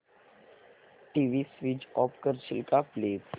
TV switch off करशील का please